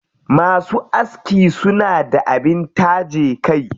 Masu aski suna da abin taje kai.